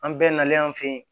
An bɛɛ nalen an fe yen